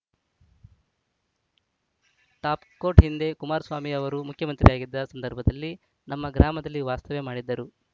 top quote ಹಿಂದೆ ಕುಮಾರಸ್ವಾಮಿ ಅವರು ಮುಖ್ಯಮಂತ್ರಿಯಾಗಿದ್ದ ಸಂದರ್ಭದಲ್ಲಿ ನಮ್ಮ ಗ್ರಾಮದಲ್ಲಿ ವಾಸ್ತವ್ಯ ಮಾಡಿದ್ದರು